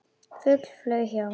Fugl flaug hjá.